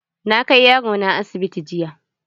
Na kai yaro na asibiti jiya.